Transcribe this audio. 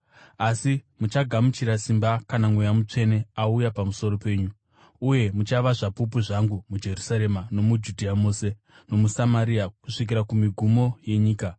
Asi muchagamuchira simba kana Mweya Mutsvene auya pamusoro penyu; uye muchava zvapupu zvangu muJerusarema, nomuJudhea mose, nomuSamaria, kusvikira kumigumo yenyika.”